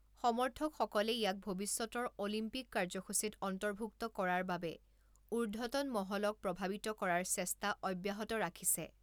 সমৰ্থকসকলে ইয়াক ভৱিষ্যতৰ অলিম্পিক কাৰ্য্যসূচীত অন্তৰ্ভুক্ত কৰাৰ বাবে ঊৰ্ধ্বতন মহলক প্ৰভাৱিত কৰাৰ চেষ্টা অব্যাহত ৰাখিছে।